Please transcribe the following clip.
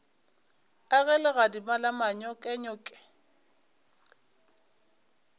a ge legadima la manyokenyoke